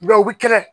u bi kɛlɛ